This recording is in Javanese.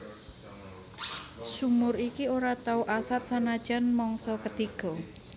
Sumur iki ora tau asat sanajan mangsa ketiga